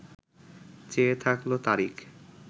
চেয়ে থাকল তারিক